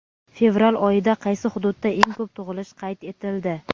Fevral oyida qaysi hududda eng ko‘p tug‘ilish qayd etildi?.